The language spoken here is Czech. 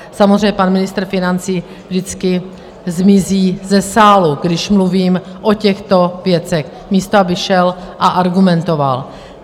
Samozřejmě pan ministr financí vždycky zmizí ze sálu, když mluvím o těchto věcech, místo aby šel a argumentoval.